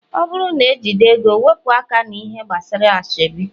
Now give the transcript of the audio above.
ọ bụrụ n ejigi ego, weepu aka na -ihe gbasara asoebi